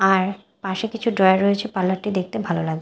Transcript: আর পাশে কিছু ড্রয়ার রয়েছে পার্লার -টি দেখতে ভালো লাগ--